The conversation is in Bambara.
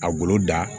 A golo da